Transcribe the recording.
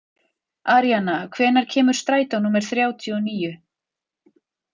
Aríana, hvenær kemur strætó númer þrjátíu og níu?